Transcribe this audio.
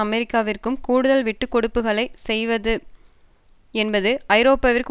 அமெரிக்காவிற்கு கூடுதல் விட்டுக்கொடுப்புகளை செய்வது என்பது ஐரோப்பாவிற்கு